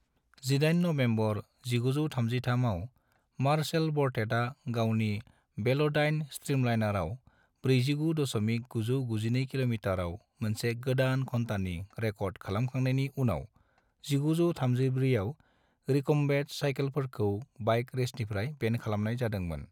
NaN